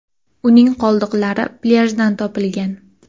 Uning qoldiqlari plyajdan topilgan.